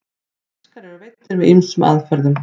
fiskar eru veiddir með ýmsum aðferðum